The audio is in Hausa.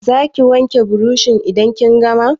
Za ki wanke burushin idan kin gama?